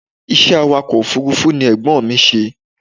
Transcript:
Ìṣe awàkọ̀ òfúrúfú ni Ẹ̀gbọ́n mi ṣe.